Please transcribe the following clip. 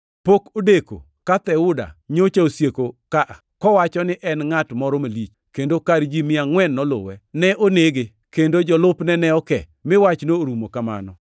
Pok odeko ka Theuda nyocha osieko ka, kowacho ni en ngʼat moro malich, kendo kar ji mia angʼwen noluwe. Ne onege, kendo jolupne ne oke, mi wachno orumo kamano.